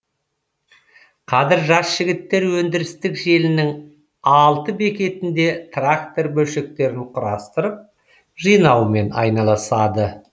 қазір жас жігіттер өндірістік желінің алты бекетінде трактор бөлшектерін құрастырып жинаумен айналасады